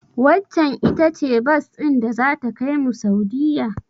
Waccen ita ce bas din da zata kaimu Saudiyya?